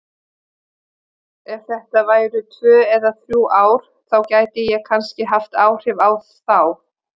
Ef þetta væru tvö eða þrjú ár þá gæti ég kannski haft áhrif á þá.